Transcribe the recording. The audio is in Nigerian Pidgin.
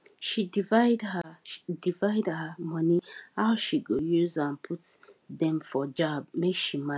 she divide her divide her money how she go use am put dem for jar make she manage well